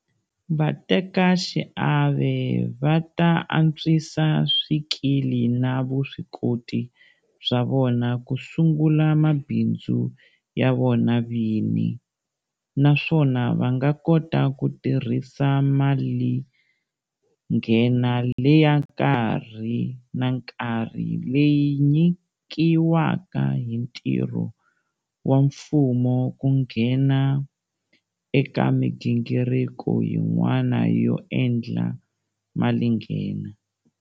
Vatekaxiave va ta antswisa swikili na vuswikoti bya vona ku sungula mabindzu ya vona vini, naswona va nga kota ku tirhisa malinghena leya nkarhi na nkarhi leyi nyikiwaka hi ntirho wa mfumo ku nghena eka migingiriko yin'wana yo endla malinghena.